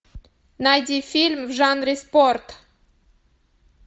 найди фильм в жанре спорт